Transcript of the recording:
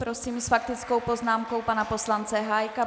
Prosím s faktickou poznámkou pana poslance Hájka.